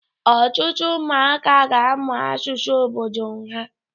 Ọtụtụ ụmụaka ga-amụ asụsụ obodo ha